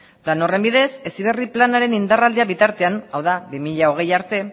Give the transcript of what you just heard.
lan horren bidez heziberri planaren indarraldia bitartean hau da bi mila hogei arte